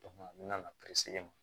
n mɛna